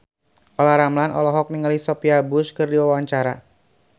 Olla Ramlan olohok ningali Sophia Bush keur diwawancara